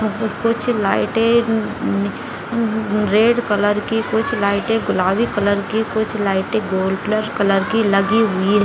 पे कुछ लाइटें रेड कलर की कुछ लाइटें गुलाबी कलर की कुछ लाइटें गोल्डलर कलर की लगी हुई --